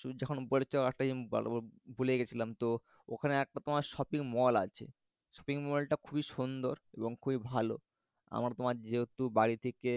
শুধু যখন উপরে যাও তখন ভালো। ভুলে গেছিলাম তো ওখানে একটা তোমার শপিং মল আছে। শপিং মলটা খুবই সুন্দর এবং খুবই ভালো। আমরা তোমার যেহেতু বাড়ি থেকে